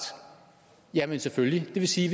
jamen selvfølgelig det vil sige